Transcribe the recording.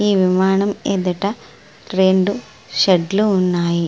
ఈ విమానం ఎదుట రెండు షెడ్డులు ఉన్నాయి.